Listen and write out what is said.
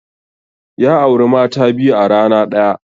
Ya auri mata biyu a rana ɗaya.